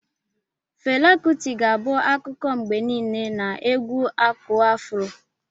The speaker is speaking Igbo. Fela Kuti ga-abụ akụkọ mgbe niile na egwu aku afuro.